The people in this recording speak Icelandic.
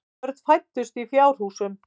Börn fæddust í fjárhúsum.